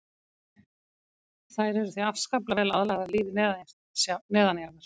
Þær eru því afskaplega vel aðlagaðar lífi neðanjarðar.